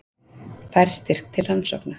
Fær styrk til rannsókna